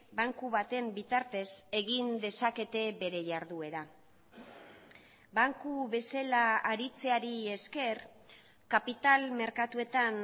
banku baten bitartez egin dezakete bere jarduera banku bezala aritzeari esker kapital merkatuetan